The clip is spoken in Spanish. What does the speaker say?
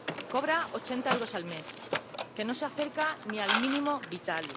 Cobra ochenta euros al mes, que no se acerca ni al mínimo vital.